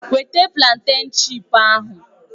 Weta plantèn chipu ahụ!